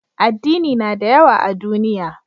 Addini na da yawa a duniya